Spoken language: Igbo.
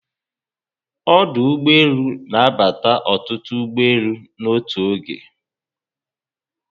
Ọdụ ụgbọelu na abata ọtụtụ ụgbọelu n'otu oge